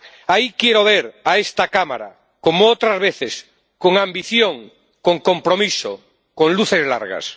Ahí quiero ver a esta Cámara, como otras veces con ambición, con compromiso, con luces largas.